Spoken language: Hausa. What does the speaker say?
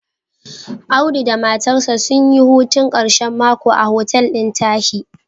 Audu da matarsa sun yi hutun ƙashen mako a hotel ɗin Tahi.